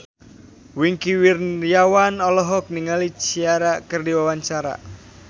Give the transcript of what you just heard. Wingky Wiryawan olohok ningali Ciara keur diwawancara